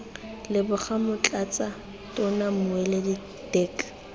leboga motlatsa tona mmueledi dirk